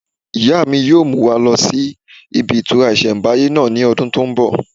Ìyá mi yóò mú wa lọ sí ibi ìtura ìsẹ̀mbáyé náà ní ọdún tó n bọ̀